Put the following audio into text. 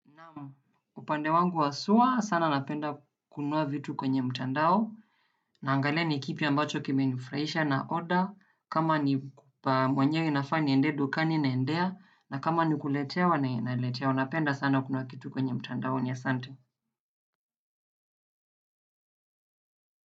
Naam upande wangu haswa sana napenda kununua vitu kwenye mtandao naangalia ni kipi ambacho kimenifurahisha na order kama ni pa mwenyewe nafaa niendee dukani naendea na kama ni kuletewa naletewa napenda sana kununua kitu kwenye mtandaoni asante.